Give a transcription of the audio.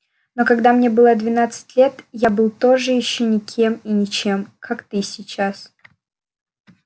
но когда мне было двенадцать лет я был тоже ещё никем и ничем как ты сейчас